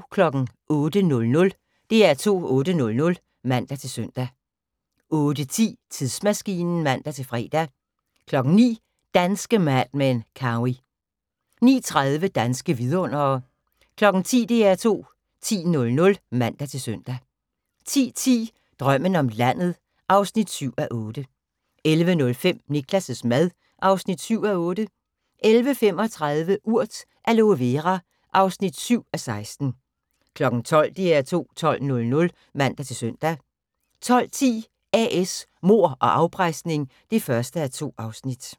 08:00: DR2 8:00 (man-søn) 08:10: Tidsmaskinen (man-fre) 09:00: Danske Mad Men: Cowey 09:30: Danske vidundere 10:00: DR2 10.00 (man-søn) 10:10: Drømmen om landet (7:8) 11:05: Niklas' mad (7:8) 11:35: Urt: Aloe Vera (7:16) 12:00: DR2 12.00 (man-søn) 12:10: A/S Mord og afpresning (1:2)